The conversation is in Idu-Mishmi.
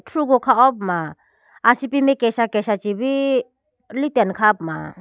thrugo kha howa puma asipi mai kesa kesa chibi litene kha ho puma.